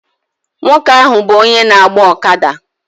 Nwoke ahụ bụ onye na-agba ọkada